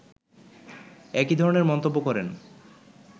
একই ধরনের মন্তব্য করেন